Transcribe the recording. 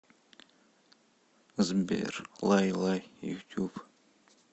сбер лай лай ютюб